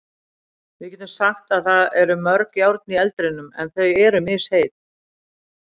Við getum sagt að það eru mörg járn í eldinum en þau eru misheit.